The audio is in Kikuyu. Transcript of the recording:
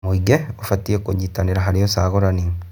Mũingĩ ũbatiĩ kũnyitanĩra harĩ ũcagũrani.